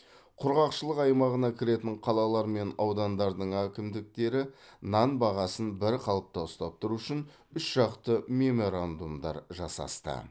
құрғақшылық аймағына кіретін қалалар мен аудандардың әкімдіктері нан бағасын бір қалыпта ұстап тұру үшін үш жақты меморандумдар жасасты